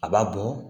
A b'a bɔ